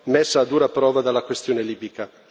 messa a dura prova dalla questione libica.